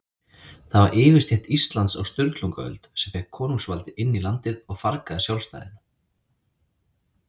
Það var yfirstétt Íslands á Sturlungaöld, sem fékk konungsvaldið inn í landið og fargaði sjálfstæðinu.